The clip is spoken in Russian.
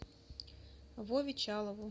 вове чалову